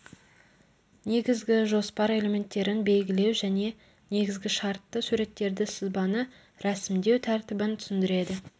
негізгі жоспар элементтерін белгілеу және негізгі шартты суреттерді сызбаны рәсімдеу тәртібін түсіндіреді